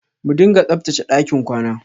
Mu dinga tsabtache ɗakin kwana.